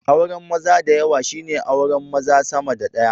Auran maza dayawa shine auran maza sama da daya